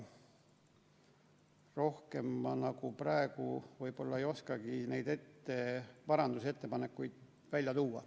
Rohkem praegu võib-olla ei oskagi neid parandusettepanekuid välja tuua.